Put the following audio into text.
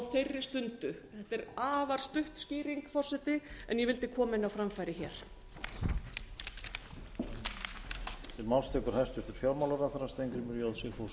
þeirri stundu þetta er afar stutt skýring forseti en ég vildi koma henni á framfæri hér